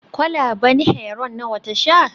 kwalaben Heroin nawa ta sha